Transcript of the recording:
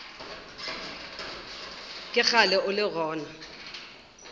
ke kgale o le gona